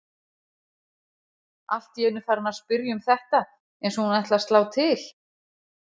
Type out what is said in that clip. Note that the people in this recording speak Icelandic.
Allt í einu farin að spyrja um þetta eins og hún ætli að slá til.